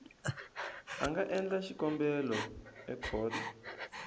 a nga endla xikombelo ekhoto